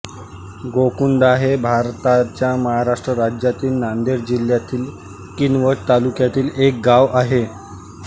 गोकुंदा हे भारताच्या महाराष्ट्र राज्यातील नांदेड जिल्ह्यातील किनवट तालुक्यातील एक गाव आहे